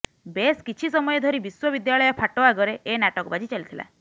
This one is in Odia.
ବେଶ କିଛି ସମୟ ଧରି ବିଶ୍ୱବିଦ୍ୟାଳୟ ଫାଟ ଆଗରେ ଏ ନାଟକବାଜି ଚାଲିଥିଲା